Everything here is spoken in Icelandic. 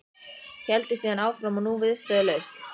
Héldi síðan áfram og nú viðstöðulaust